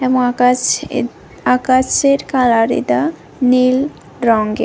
মহাকাশ এ আকাশের কালার এটা নীল রঙের।